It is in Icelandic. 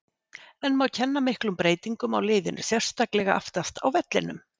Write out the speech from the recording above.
En má kenna miklum breytingum á liðinu, sérstaklega aftast á vellinum?